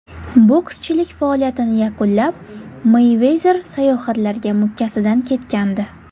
Bokschilik faoliyatini yakunlab, Meyvezer sayohatlarga mukkasidan ketgandi.